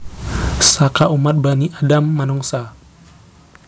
Saka umat Bani Adam Manungsa